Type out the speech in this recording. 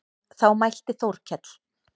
Þá mælti Þórkell